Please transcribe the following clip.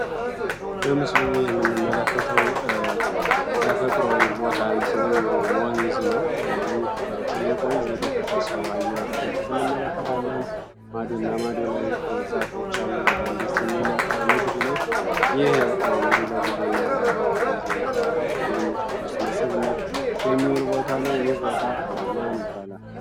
በምስሉ ውህምንም መለከተው ተፈጥሮዊ ቦታን ሲሆን እንግዲህ ወንዝ ነው ይህ ትልቅ ወንዝ የደፈረሰው ውሃየወረዴበትንም መለከታ ለን ማዱ እና ማዱ ላይ የዛፎች አሉ በጣም ዴስት የሚል መልካ ምድር ነው ይህ እንግዲህ ለጉዞ እና ለቱሪዝን ለጉብኝዝ ለቱሪስት መስህብነት የሚውል ቦታ ነው፡፡ ይህ ቦታ ማን ይባላለ?